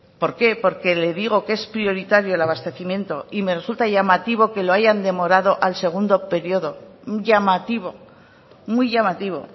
por qué porque le digo que es prioritario el abastecimiento y me resulta llamativo que lo hayan demorado al segundo periodo llamativo muy llamativo